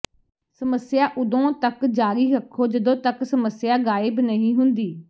ਸਮੱਸਿਆ ਉਦੋਂ ਤੱਕ ਜਾਰੀ ਰੱਖੋ ਜਦੋਂ ਤਕ ਸਮੱਸਿਆ ਗਾਇਬ ਨਹੀਂ ਹੁੰਦੀ